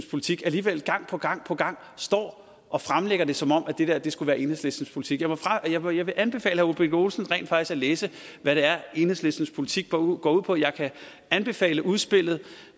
politik alligevel gang på gang på gang står og fremlægger det som om det der der skulle være enhedslistens politik jeg vil jeg vil anbefale herre ole birk olesen rent faktisk at læse hvad det er enhedslistens politik går ud går ud på jeg kan anbefale udspillet